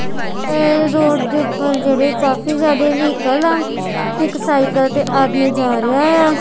ਇਹ ਰੋਡ ਦੇ ਉੱਪਰ ਜਿਹੜੇ ਕਾਫੀ ਜਿਆਦਾ ਵ੍ਹੀਕਲ ਆ ਇੱਕ ਸਾਈਕਲ ਤੇ ਆਦਮੀ ਜਾ ਰਿਹਾ ਐ।